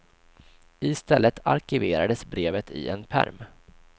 I stället arkiverades brevet i en pärm.